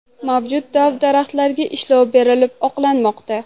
Mavjud dov-daraxtlarga ishlov berilib, oqlanmoqda.